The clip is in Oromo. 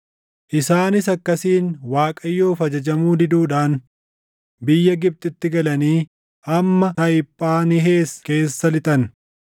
Isaanis akkasiin Waaqayyoof ajajamuu diduudhaan biyya Gibxitti galanii hamma Tahiphaanhees keessa lixan.